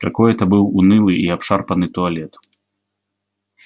какой это был унылый и обшарпанный туалет